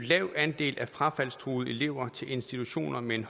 lav andel af frafaldstruede elever til institutioner med en